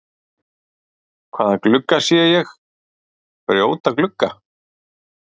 Hvaða glugga segi ég, brjóta glugga?